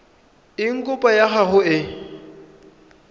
eng kopo ya gago e